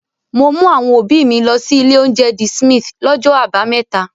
Mo mú àwọn òbí mi lọ sí ilé-oúnjẹ The Smith lọ́jọ́ àbámẹ́ta.